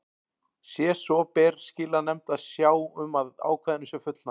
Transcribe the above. Sé svo ber skilanefnd að sjá um að ákvæðinu sé fullnægt.